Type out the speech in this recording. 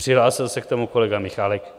Přihlásil se k tomu kolega Michálek.